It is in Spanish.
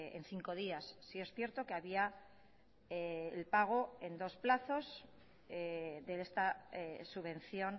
en cinco días sí es cierto que había el pago en dos plazos de esta subvención